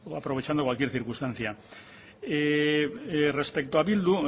aprovechando cualquier circunstancia respecto a bildu